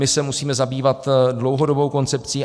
My se musíme zabývat dlouhodobou koncepcí.